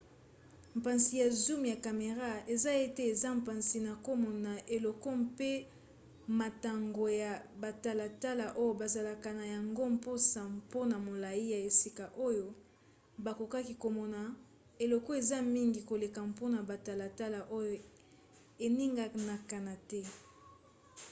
mpasi ya zoom ya camera eza ete eza mpasi na komona eloko pe motango ya batalatala oyo bazalaka na yango mposa mpona molai ya esika oyo bakoki komona eleko eza mingi koleka mpona batalatala oyo eninganaka te